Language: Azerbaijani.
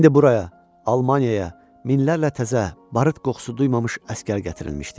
İndi buraya, Almaniyaya, minlərlə təzə, barıt qoxusu duymamış əsgər gətirilmişdi.